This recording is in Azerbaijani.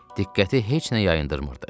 Diqqəti heç nə yayındırmırdı.